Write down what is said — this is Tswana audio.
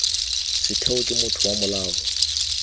setheo ke motho wa molao